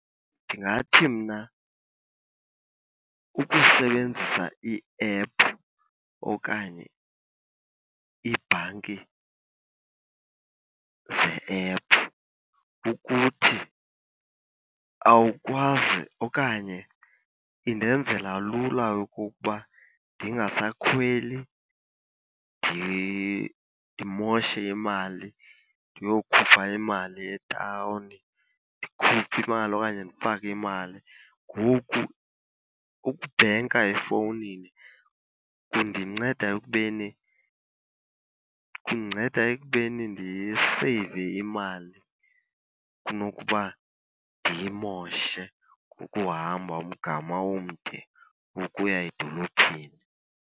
Ndingathi mna ukusebenzisa iephu okanye iibhanki ze-ephu kukuthi awukwazi okanye indenzela lula okokuba ndingasakhweli ndimoshe imali ndiyokhupha imali etawuni, ndikhuphe imali okanye ndifake imali. Ngoku ukubhenka efowunini kundinceda ekubeni, kundinceda ekubeni ndiseyive imali kunokuba ndiyimoshe ngokuhamba umgama omde ukuya edolophini.